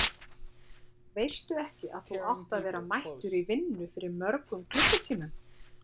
Veistu ekki að þú átt að vera mættur í vinnu fyrir mörgum klukkutímum?